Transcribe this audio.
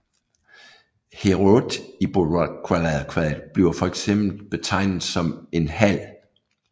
Heorot i Beovulfkvadet bliver fx betegnet som en hal